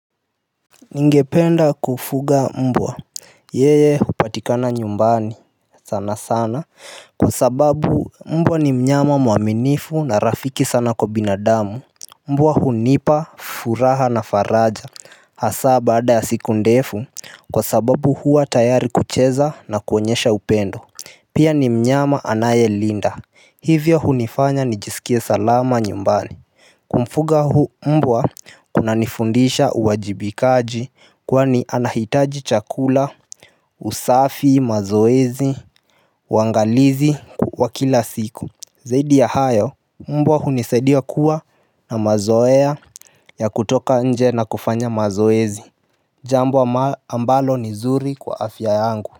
Ningependa kufuga mbwa. Yeye hupatikana nyumbani sana sana kwa sababu mbwa ni mnyama mwaminifu na rafiki sana kwa binadamu. Mbwa hunipa furaha na faraja hasa baada ya siku ndefu kwa sababu huwa tayari kucheza na kuonyesha upendo. Pia ni mnyama anayelinda hivyo hunifanya nijisikie salama nyumbani. Kumfuga mbwa kinanifundisha uwajibikaji kwani anahitaji chakula. Usafi mazoezi wangalizi wa kila siku zaidi ya hayo mbwa hunisaidia kuwa na mazoea ya kutoka nje na kufanya mazoezi. Jambo ambalo ni zuri kwa afya yangu.